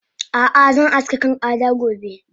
Ah ah zan aske kan Ada gobe